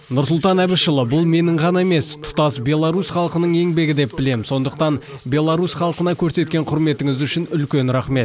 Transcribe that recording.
нұрсұлтан әбішұлы бұл менің ғана емес тұтас беларусь халқының еңбегі деп білемін сондықтан беларусь халқына көрсеткен құрметіңіз үшін үлкен рахмет